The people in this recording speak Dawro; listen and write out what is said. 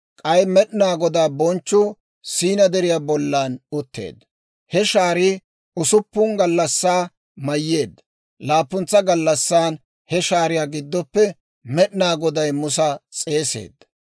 K'ay Med'inaa Godaa bonchchuu Siina Deriyaa bollan utteedda; he shaarii usuppun gallassaa mayyeedda; laappuntsa gallassan he shaariyaa giddoppe Med'inaa Goday Musa s'eeseedda.